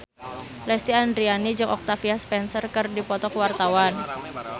Lesti Andryani jeung Octavia Spencer keur dipoto ku wartawan